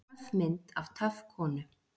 Töff mynd af töff konu